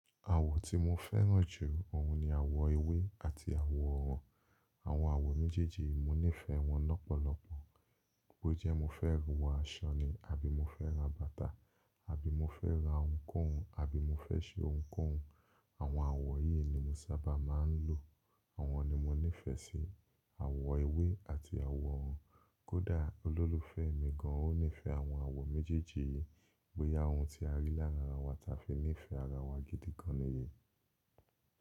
Àwọ̀ tí mo fẹ́ràn jù ọ̀hún ni àwọ̀ ewé àti àwọ̀ òrùn. Àwọn àwọ̀ méjèèjì yìí mo nífẹ̀ẹ́ wọn lọ́pọ̀lọpọ̀. Bó jẹ́ mo fẹ́ wọọ aṣọ ni àbí mo fẹ́ ra bàtà àbí mo fẹ́ ra ohunkóhun àbí mo fẹ́ ṣe ohunkóhun, àwọn àwọ̀ yìí ni mo sábà máa ń lò. Àwọn ni mo nífẹ̀ẹ́ sí, àwọ̀ ewé àti àwọ̀ òrùn. Kódà olólùfẹ́ mi gan, ó nífẹ̀ẹ́ àwọn àwọ̀ méjèèjì yìí. Bóyá ohun tí a rí láàrín ara wa táa fi ní ìfẹ́ ara wa gidi gan ni èyí.